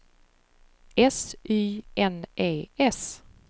S Y N E S